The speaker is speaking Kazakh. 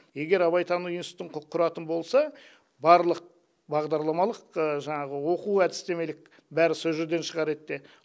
егер абайтану институтын құратын болса барлық бағдарламалық жаңағы оқу әдістемелік бәрі сол жерден шығар ед де